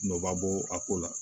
Nɔba bɔ a ko la